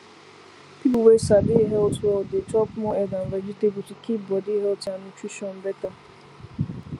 people wey sabi health well dey chop more egg and vegetable to keep body healthy and nutrition better